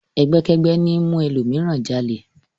Ẹgbẹ́kẹ́gbẹ́ ní ń mú ẹlòmíràn jalè.